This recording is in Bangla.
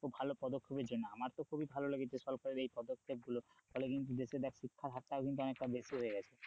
ভালো পদক্ষেপের জন্য আমার তো খুবই ভালো লেগেছে সরকারের এই পদক্ষেপ গুলো, তালে কিন্তু দেশে দেখ শিক্ষার হারটাও কিন্তু অনেকটা বেশি হয়ে গেছে।